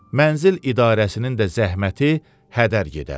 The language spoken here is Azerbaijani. Mənzil idarəsinin də zəhməti hədər gedər.